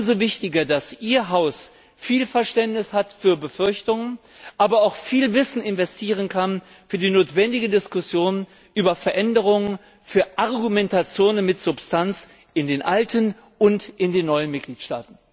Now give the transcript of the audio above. Umso wichtiger, dass Ihr Haus viel Verständnis für Befürchtungen hat, aber auch viel Wissen einbringen kann in die notwendige Diskussion über Veränderungen und in Argumentationen mit Substanz in den alten und neuen Mitgliedstaaten.